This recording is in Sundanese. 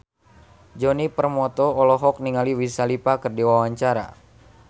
Djoni Permato olohok ningali Wiz Khalifa keur diwawancara